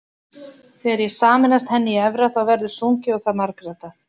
Þegar ég sameinast henni í efra þá verður sungið og það margraddað.